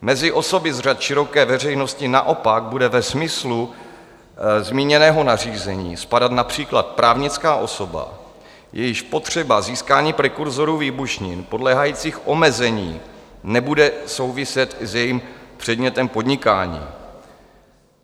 Mezi osoby z řad široké veřejnosti naopak bude ve smyslu zmíněného nařízení spadat například právnická osoba, jejíž potřeba získání prekurzorů výbušnin podléhajících omezení nebude souviset s jejím předmětem podnikání.